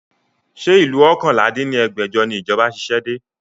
Ṣé ìlú oókànlá dín ní ẹgbẹ́jọ ni ìjọba ṣiṣẹ́ dé?